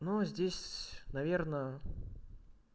но здесь наверно